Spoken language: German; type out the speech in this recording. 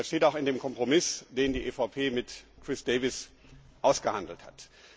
Das steht auch in dem Kompromiss, den die EVP mit Chris Davies ausgehandelt hat.